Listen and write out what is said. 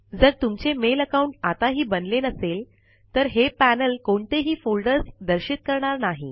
जर तुमचे mail account बनले नसेल तर पैनल कोणतेही फोल्डर दर्शविणार नाही